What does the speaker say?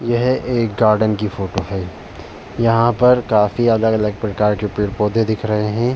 यह एक गार्डन की फोटो है यहाँ पर काफी अलग-अलग प्रकार के पेड़ पौधे दिख रहे है।